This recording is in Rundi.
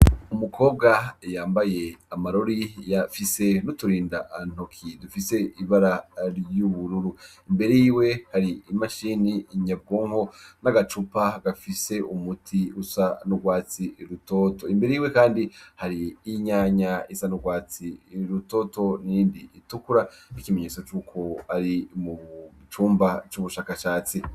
Umukobwa yambaye amarori, yafise n'uturindantoki dufise ibara ry'ubururu. Imbere yiwe hari imashini nyabwonko, n'agacupa gafise umuti usa n'urwatsi rutoto. Imbere yiwe kandi hari kandi hari n'inyanya isa n'urwatsi rutoto itukura ikimenyetso c'uko ari mu cumba c'ubushakashatsi.